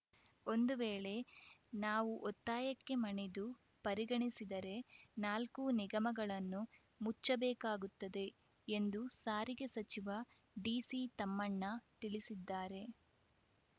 ಒಂದು ವೇಳೆ ನಾವು ಒತ್ತಾಯಕ್ಕೆ ಮಣಿದು ಪರಿಗಣಿಸಿದರೆ ನಾಲ್ಕೂ ನಿಗಮಗಳನ್ನು ಮುಚ್ಚಬೇಕಾಗುತ್ತದೆ ಎಂದು ಸಾರಿಗೆ ಸಚಿವ ಡಿಸಿತಮ್ಮಣ್ಣ ತಿಳಿಸಿದ್ದಾರೆ